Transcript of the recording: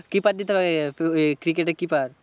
Keeper দিতে হবে, তোর এই cricket এর কিপার।